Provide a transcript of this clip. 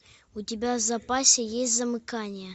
у тебя в запасе есть замыкание